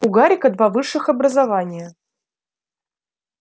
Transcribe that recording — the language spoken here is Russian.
у гарика два высших образования